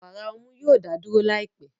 Wàrà ọmú yoo da duro laipẹ